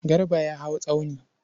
Garba ya hau tsauni.